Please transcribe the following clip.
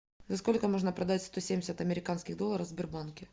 за сколько можно продать сто семьдесят американских долларов в сбербанке